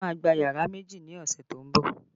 Mo má gba yàrá méjì ni ọ̀sẹ̀ tó ń bọ̀